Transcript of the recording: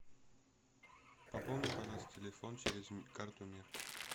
пополни пожалуйста телефон через карту мир